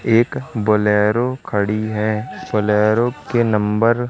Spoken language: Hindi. एक बोलेरो खड़ी है बोलेरो के नंबर --